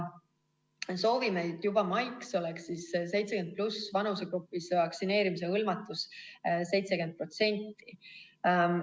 Soovime, et juba maiks oleks 70+ vanusegrupis vaktsineerimisega hõlmatus 70%.